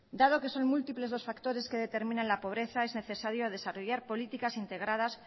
dado que son múltiples los factores que determinan la pobreza es necesario desarrollar políticas integradas